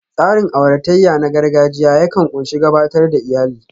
Tsarin auratayya na gargajiya yakan ƙunshi gabatar da iyalai